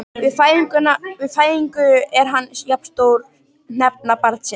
Við fæðingu er hann jafn stór hnefa barnsins.